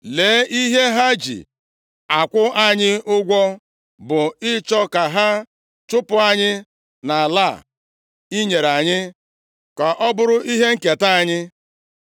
Lee ihe ha ji akwụ anyị ụgwọ bụ ịchọ ka ha chụpụ anyị nʼala a i nyere anyị ka ọ bụrụ ihe nketa anyị.